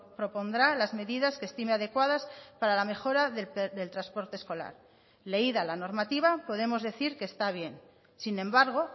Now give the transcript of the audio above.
propondrá las medidas que estime adecuadas para la mejora del transporte escolar leída la normativa podemos decir que está bien sin embargo